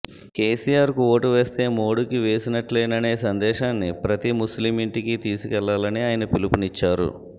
కేసీఆర్కు ఓటు వేస్తే మోదీకి వేసినట్లేననే సందేశాన్ని ప్రతి ముస్లిం ఇంటికి తీసుకెళ్లాలని ఆయన పిలుపునిచ్చారు